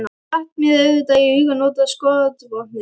Þá datt mér auðvitað í hug að nota skotvopnið.